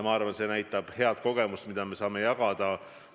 Ma arvan, et see on hea kogemus, mida me saame jagada.